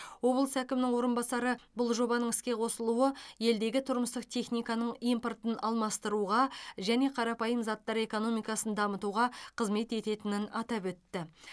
облыс әкімінің орынбасары бұл жобаның іске қосылуы елдегі тұрмыстық техниканың импортын алмастыруға және қарапайым заттар экономикасын дамытуға қызмет ететінін атап өтті